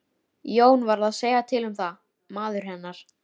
Þeir komu á móti þeim og æptu og görguðu.